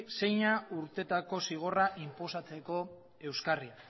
zeina urteetako zigorra inposatzeko euskarri